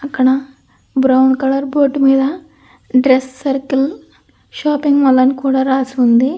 అక్కడ brown colour board మీద dress circle shopping mall అనికూడ రాసుంది.